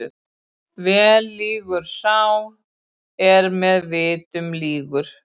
Vel lýgur sá er með vitnum lýgur.